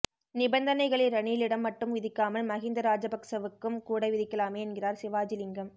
நிபந்தனைகளை ரணிலிடம் மட்டும் விதிக்காமல் மஹிந்த ராஜபக்சாவுக்கும் கூட விதிக்கலாமே என்கிறார் சிவாஜிலிங்கம்